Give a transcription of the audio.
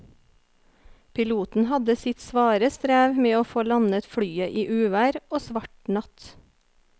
Piloten hadde sitt svare strev med å få landet flyet i uvær og svart natt.